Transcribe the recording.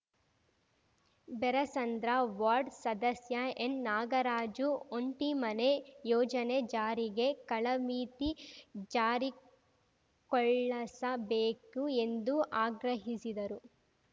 Berasandra ward ಸದಸ್ಯ ಎನ್‌ನಾಗರಾಜು ಒಂಟಿ ಮನೆ ಯೋಜನೆ ಜಾರಿಗೆ ಕಾಳಮಿತಿ ಜಾರಿಕೊಳ್ಳಸಬೇಕು ಎಂದು ಆಗ್ರಹಿಸಿದರು